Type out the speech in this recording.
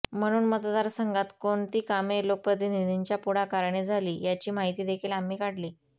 म्हणून मतदारसंघात कोणती कामे लोकप्रतिनिधींच्या पुढाकाराने झाली याची माहिती देखील आम्ही काढली